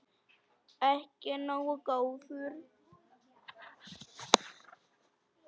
Ekki nógu góður!